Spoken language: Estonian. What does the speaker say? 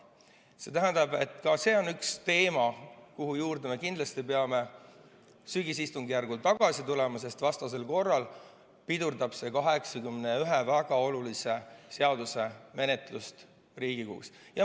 See tähendab, et ka see on üks teema, mille juurde me kindlasti peame sügisistungjärgul tagasi tulema, sest vastasel korral pidurdab see 81 väga olulise seaduse menetlust Riigikogus.